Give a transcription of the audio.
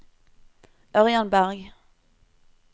Ørjan Bergh